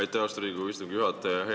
Aitäh, austatud Riigikogu istungi juhataja!